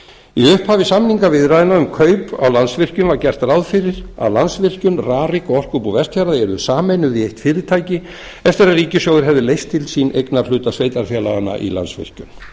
í upphafi samningaviðræðna um kaup á landsvirkjun var gert ráð fyrir að landsvirkjun rarik og orkubú vestfjarða yrðu sameinuð í eitt fyrirtæki eftir að ríkissjóður hefði leyst til sín eignarhluta sveitarfélaganna í landsvirkjun